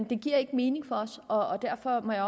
det giver ikke mening for os og derfor må jeg